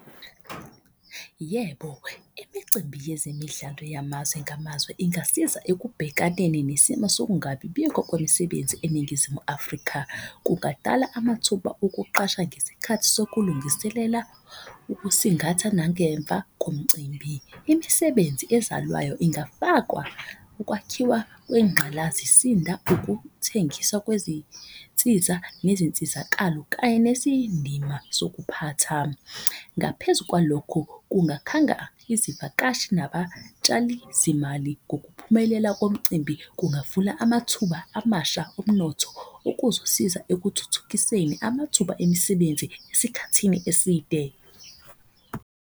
Yebo, imicimbi yezemidlalo yamazwe ngamazwe ingasiza ekubhekaneni nesimo sokungabibikho kwemisebenzi eNingizimu Afrika. Kungadala amathuba okuqasha ngesikhathi sokulungiselela ukusingatha nangemva komcimbi. Imisebenzi ezalwayo ingafakwa ukwakhiwa kwengqalasisinda, ukuthengiswa kwezinsiza, nezinsizakalo, kanye nesiyindima sokuphatha. Ngaphezu kwalokho, kungakhanga izivakashi nabatshali zimali ngokuphumelela komcimbi, kungavula amathuba amasha omnotho. Okuzosiza ekuthuthukiseni amathuba emisebenzi esikhathini eside.